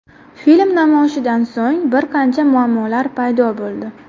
Film namoyishidan so‘ng bir qancha muammolar paydo bo‘ldi.